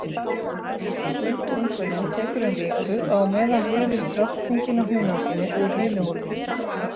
Útungunin tekur um viku og á meðan lifir drottningin á hunanginu úr hinu hólfinu.